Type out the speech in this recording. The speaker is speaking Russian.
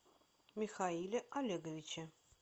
михаиле олеговиче